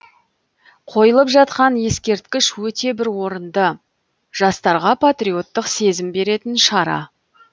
қойылып жатқан ескерткіш өте бір орынды жастарға патриоттық сезім беретін шара